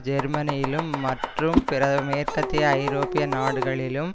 ஜெர்மனியிலும் மற்றும் பிற மேற்கத்திய ஐரோப்பிய நாடுகளிலும்